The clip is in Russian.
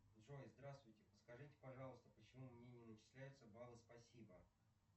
джой здравствуйте подскажите пожалуйста почему мне не начисляются баллы спасибо